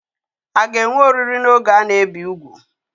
A ga-enwe oriri n'oge a na-ebi úgwù?